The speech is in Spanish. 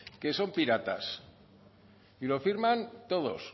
que son piratas y lo firman todos